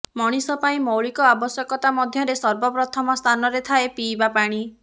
ମଣିଷ ପାଇଁ ମୌଳିକ ଆବଶ୍ୟକତା ମଧ୍ୟରେ ସର୍ବପ୍ରଥମ ସ୍ଥାନରେ ଥାଏ ପିଇବା ପାଣି